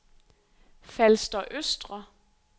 Falster Østre